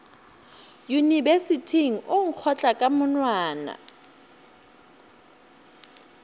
yunibesithing o nkgotla ka monwana